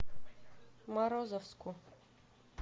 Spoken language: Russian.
морозовску